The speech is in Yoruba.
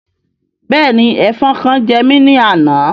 Bẹ́ẹ̀ni, Ẹfọn kan jẹ́ mi ni àna